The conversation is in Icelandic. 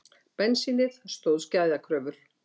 Bensínið stóðst gæðakröfur